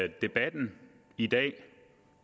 det debatten i dag